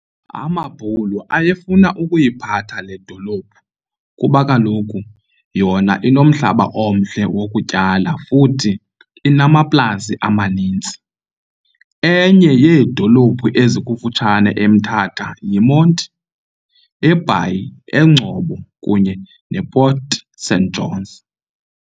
Amabhulu ayefuna ukuyiphatha le dolophu kuba kaloku yona inomhlaba omhle wokutyala futhi inamaplasi amanintsi. Enye yeedolophu ezikufutshanwe eMthatha yiMonti, eBhayi, eNgcobo kunye ne Port St Johns.